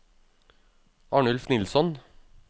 Arnulf Nilsson